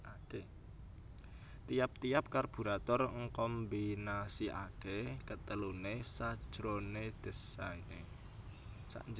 Tiap tiap karburator ngkombinasikaké keteluné sajroné désainé